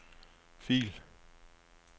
fil